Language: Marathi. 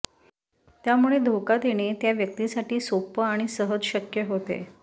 त्यामुळे धोका देणे त्या व्यक्तीसाठी सोप आणि सहज शक्य होते